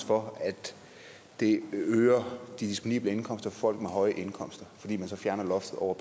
for at det øger de disponible indkomster for folk med høje indkomster fordi man så fjerner loftet over